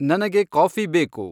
ನನಗೆ ಕಾಫಿ ಬೇಕು